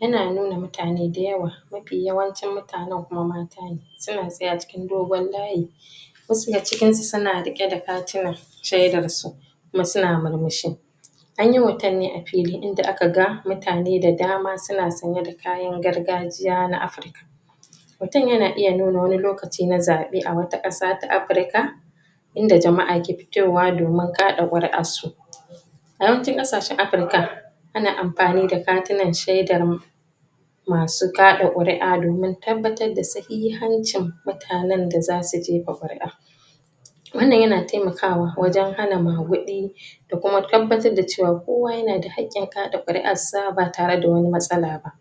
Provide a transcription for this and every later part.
Yana nuna mutane da yawa mafi yawancin mutanan kuma matane suna tsaye acikin dogon layi wasu daga cikinsu suna riƙe da katina shedan su kuma suna mur mishi anyi hoton ne afili inda aka ga mutane da dama suna sanye da kayan gargajiya na africa mutun yana nuna wani lokaci na za ɓe a wata ƙasa ta africa inda jama'a ke jewa domin ƙa ɗa ƙuri ar su a yawancin ƙashashan africa ana amfani da katinan shedan masu kaɗa ƙuri a domin tabbatar da sahihancin mutanan da zasu jefa ƙuri a wannan yana temakawa wajan hana maguɗi do kuma ttabbatar da cewa kowa yanada hak ƙin kaɗa ƙuri arsa batare da wani matsala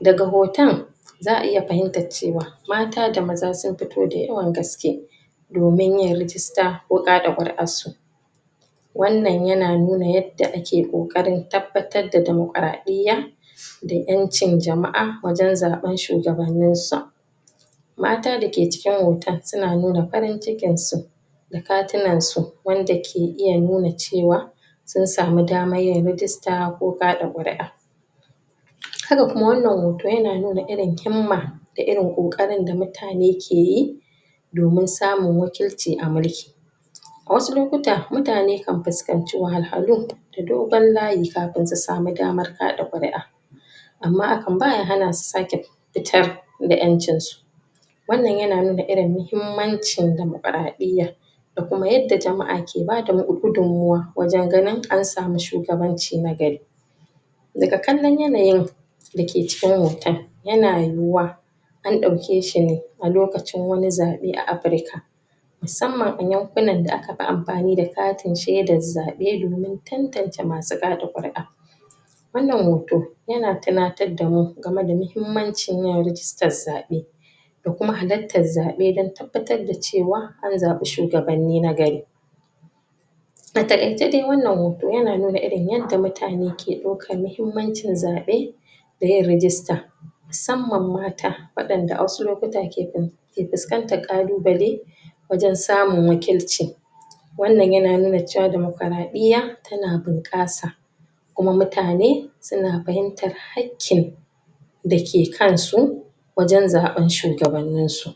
daga hoton za a iya fahimtar cewa mata da maza sun fith dayawan gaske domin yin register ko kaɗa ƙuri arsu wanda yana nuna yad da ake ƙokanrin tabbatar da dama kara ɗiya da ƙ ƴancin jama'a wajan zaɓan shugabanisa mata dake cikin hotonan suna nuna farin cikin su da katinansu wanda ke iya cewa sun samuyin rijista ko kaɗa ƙuri a haka kuma wannan hoton yana nuna irin himma da irin ƙoƙarin da mutane keyi domin samun wakilci amulki wasu lokuta mutane kan fuskaci wahal halu da dogon layin kafin su samu daman kaɗa ƙuri a amma hakan baya hanasu sake fitar da ƴancin su wannan yana nuna mahimmancin damakara ɗiyya da kuma yadda jama'a ke bada gudun mawa wajan ganin ansamu shugabanci nagari daga kallon yanayi dake cikin hoton yana yuwuwa an ɗauke shine a lokacin wani zaɓe a africa musamman a yankunan da akafi ammani da katin shedan zaɓe domin tantance masu kaɗa ƙuri a wannan hoto yana tinatar damu gamada mahimmanci yin rijista zaɓe da kuma halattan zaɓe dan tabbatar da cewa an zaɓi shugabanni nagari ataƙaice dai wannan hoto yana nuna irin yanda mutane ke ɗau kan mahimmancin zaɓe dayin rijista musamman mata waɗanda a wasu lokuta ke fin ke fiskantar ƙalu bale wajan samun wakilci wannan yanuna cewa domakaraɗiya yana bunƙasa kuma mutane suna fahimtar hakkin dake kansu wajan zaɓan shugabanninsu